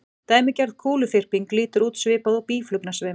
Dæmigerð kúluþyrping lítur út svipað og býflugnasveimur.